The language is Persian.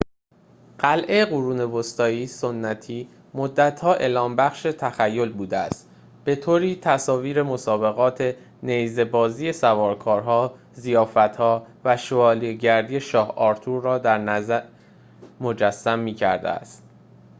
قلعه قرون وسطایی سنتی مدت‌ها الهام‌بخش تخیل بوده است به‌طوری تصاویر مسابقات نیزه‌بازی سوارکارها ضیافت‌ها و شوالیه‌گری شاه آرتور را درنظر مجسم می‌کرده است